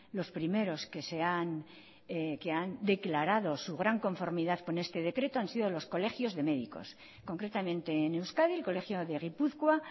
los primeros que se han que han declarado su gran conformidad con este decreto han sido los colegios de médicos concretamente en euskadi el colegio de gipuzkoa